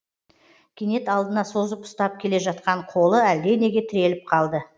кенет алдына созып ұстап келе жатқан қолы әлденеге тіреліп қалды